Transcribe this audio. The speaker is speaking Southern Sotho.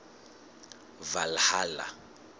valhalla